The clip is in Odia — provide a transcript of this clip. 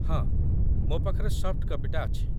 ହଁ, ମୋ ପାଖରେ ସଫ୍ଟ କପିଟା ଅଛି ।